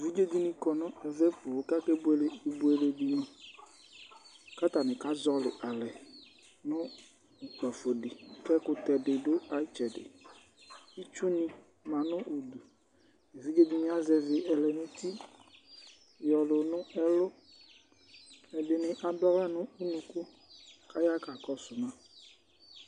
Evidze ɖìŋí kɔ zɛti kʋ akebʋele ibʋele ɖìŋí Ataŋi kazɔli ale ŋʋ kpafoli Akutɛ ɖi ɖʋ ayʋ itsɛɖi Itsu manʋ ɛfɛ Evidze ɖìŋí azɛvi lɛ ŋu uti yʋlʋ ŋʋ ɛlu Ɛɖìní aɖu aɣla ŋu ʋnʋku kʋ aɣa kakɔsuma